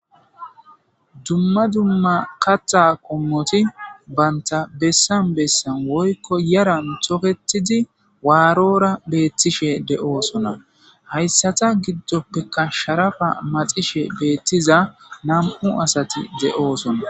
dumma dumma kaxa qommoti banta bessan bessan woykko yaran toketidi waarora beettishe de7oosona hayssata giddoppeka sharafa maxishe beettiza nam7u asati de7oosona